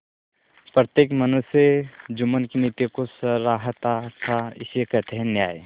प्रत्येक मनुष्य जुम्मन की नीति को सराहता थाइसे कहते हैं न्याय